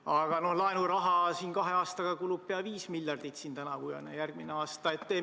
Aga laenuraha kulub kahe aastaga – tänavu ja järgmisel aastal – pea viis miljardit.